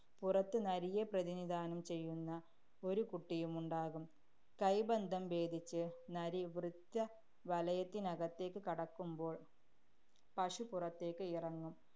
പുറത്ത് നരിയെ പ്രതിനിധാനം ചെയ്യുന്ന ഒരു കുട്ടിയുമുണ്ടാകും. കൈബന്ധം ഭേദിച്ച് നരി വൃത്തവലയത്തിനകത്തേക്ക് കടക്കുമ്പോള്‍ പശു പുറത്തേക്ക് ഇറങ്ങും.